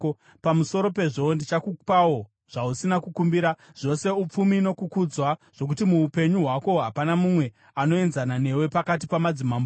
Pamusoro pezvo, ndichakupawo zvausina kukumbira, zvose upfumi nokukudzwa, zvokuti muupenyu hwako hapana mumwe anozoenzana newe pakati pamadzimambo.